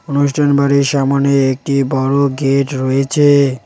অনুষ্ঠান বাড়ির সামোনে একটি বড় গেট রয়েছে।